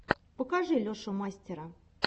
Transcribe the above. покажи лешу мастера